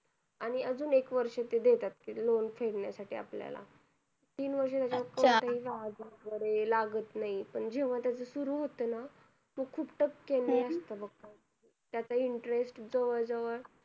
आणि अजून एक वर्ष देतात ते loan फेडण्या साठी आपल्याला तीन वर्ष लागत नाही पण जेंव्हा तेच सुरु होत ना खूप टक्या नी असत बघ त्याच interest जवळ जवळ